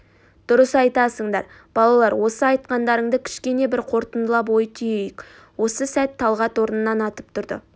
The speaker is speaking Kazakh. дұрыс айтасыңдар балалар осы айтқандарыңды кішкене бір қорытындылап ой түйейік осы сәт талғат орнынан атып тұрды